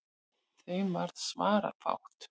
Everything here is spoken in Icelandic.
Þeim varð svarafátt.